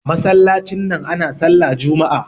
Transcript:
masallacin nan ana sallah Juma'a